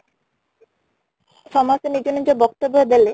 ସମସ୍ତେ ନିଜ ନିଜ ବକ୍ତବ୍ୟ ଦେଲେ